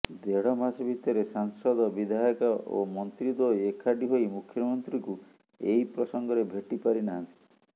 ଦେଢ ମାସ ଭିତରେ ସାଂସଦ ବିଧାୟକ ଓ ମନ୍ତ୍ରୀଦ୍ୱୟ ଏକାଠି ହୋଇ ମୁଖ୍ୟମନ୍ତ୍ରୀଙ୍କୁ ଏହି ପ୍ରସଙ୍ଗରେ ଭେଟି ପାରିନାହାଂତି